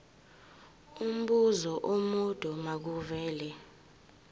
umbuzo omude makuvele